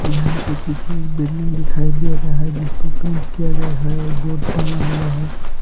यहां पे पीछे एक बिल्डिंग दिखाई दे रहा है जिसको पेंट किया गया है और बोर्ड टांगा हुआ है।